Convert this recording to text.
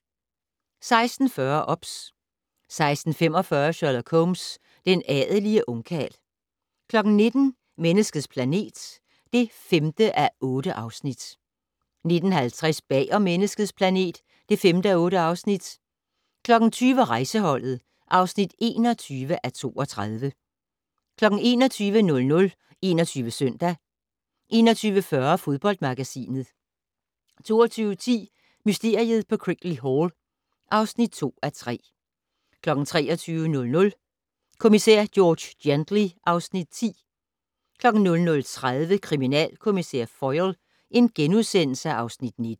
16:40: OBS 16:45: Sherlock Holmes: Den adelige ungkarl 19:00: Menneskets planet (5:8) 19:50: Bag om Menneskets planet (5:8) 20:00: Rejseholdet (21:32) 21:00: 21 Søndag 21:40: Fodboldmagasinet 22:10: Mysteriet på Crickley Hall (2:3) 23:00: Kommissær George Gently (Afs. 10) 00:30: Kriminalkommissær Foyle (Afs. 19)*